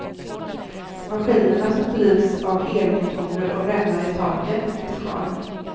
Maskinerna, som drivs av elmotorer och remmar i taket, finns kvar.